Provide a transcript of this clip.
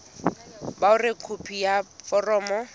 ba hore khopi ya foromo